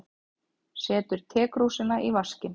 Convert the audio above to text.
Setur tekrúsina í vaskinn.